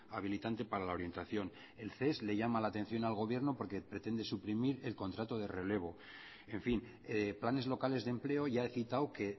habilitante para la orientación el ces le llama la atención al gobierno porque pretende suprimir el contrato de relevo en fin planes locales de empleo ya he citado que